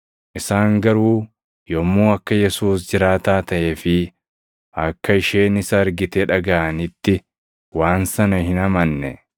Isaan garuu yommuu akka Yesuus jiraataa taʼee fi akka isheen isa argite dhagaʼanitti waan sana hin amanne.